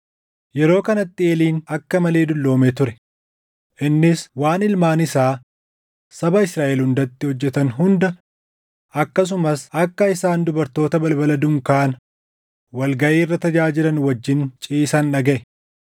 Yeroo kanatti Eeliin akka malee dulloomee ture; innis waan ilmaan isaa saba Israaʼel hundatti hojjetan hunda akkasumas akka isaan dubartoota balbala dunkaana wal gaʼii irra tajaajilan wajjin ciisan dhagaʼe.